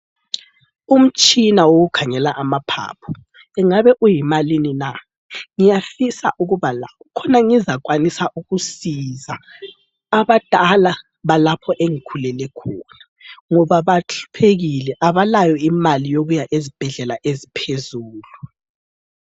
Umtshina wokukhangela amaphaphu ungabe uyimalini na? Ngiyafisa ukuba lawo khona ngizakwanisa ukusiza abadala balapho engikhulele khona ,ngoba bahluphekile abalayo imali yokuya ezibhedlela eziphezulu.